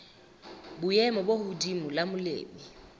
boemo bo hodimo la molemi